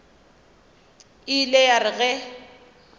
e ile ya re ge